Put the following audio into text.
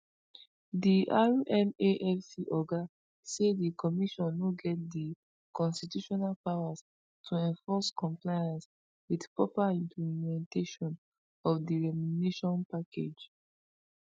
di rmafc oga say di commission no get di constitutional powers to enforce compliance wit proper implementation of di remuneration package